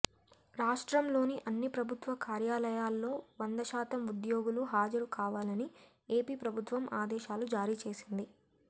రాష్ట్రంలోని అన్ని ప్రభుత్వ కార్యాలయాల్లో వంద శాతం ఉద్యోగులు హాజరు కావాలని ఏపీ ప్రభుత్వం ఆదేశాలు జారీ చేసింది